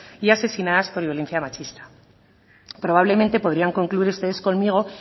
y asesinadas por violencia machista probablemente podrían concluir ustedes conmigo